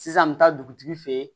Sisan n bɛ taa dugutigi fɛ ye